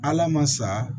Ala ma sa